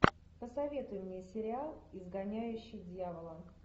посоветуй мне сериал изгоняющий дьявола